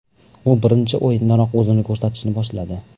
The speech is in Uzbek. U birinchi o‘yindanoq o‘zini ko‘rsatishni boshladi.